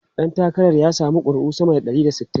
Dan takarar ya samu kuri'u sama da ɗari da sittin.